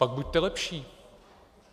Pak buďte lepší.